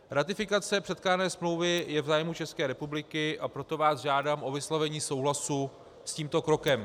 Ratifikace předkládané smlouvy je v zájmu České republiky, a proto vás žádám o vyslovení souhlasu s tímto krokem.